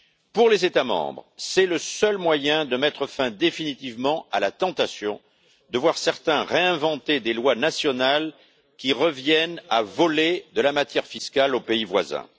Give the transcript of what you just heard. Pour les États membres, c'est le seul moyen de mettre fin définitivement à la tentation de voir certains réinventer des lois nationales qui reviennent à voler de la matière fiscale aux pays voisins.